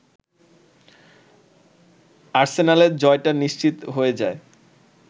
আর্সেনালের জয়টা নিশ্চিত হয়ে যায়